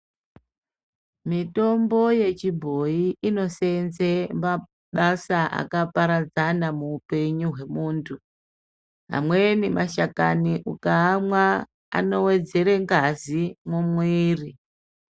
Mitombo yechibhoyi inosevenza mabasa akaparadzana muhupenyu wemuntu amweni mashakani ukaamwa anowedzera ngazi mumwiri.